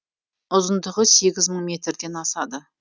ұзындығы сегіз мың метрден асады